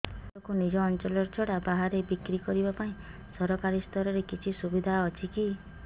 ଶସ୍ୟକୁ ନିଜ ଅଞ୍ଚଳ ଛଡା ବାହାରେ ବିକ୍ରି କରିବା ପାଇଁ ସରକାରୀ ସ୍ତରରେ କିଛି ସୁବିଧା ଅଛି କି